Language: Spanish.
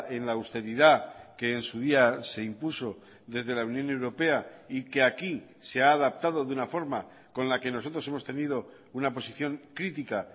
en la austeridad que en su día se impuso desde la unión europea y que aquí se ha adaptado de una forma con la que nosotros hemos tenido una posición crítica